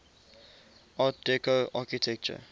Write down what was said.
art deco architecture